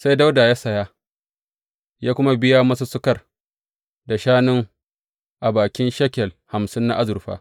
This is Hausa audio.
Sai Dawuda ya saya, ya kuma biya masussukar, da shanun a bakin shekel hamsin na azurfa.